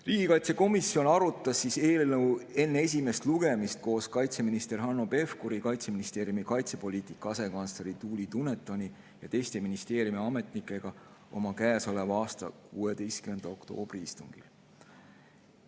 Riigikaitsekomisjon arutas eelnõu enne esimest lugemist koos kaitseminister Hanno Pevkuri, Kaitseministeeriumi kaitsepoliitika asekantsleri Tuuli Dunetoni ja teiste ministeeriumi ametnikega oma käesoleva aasta 16. oktoobri istungil.